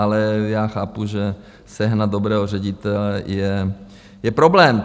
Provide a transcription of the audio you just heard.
Ale já chápu, že sehnat dobrého ředitele je problém.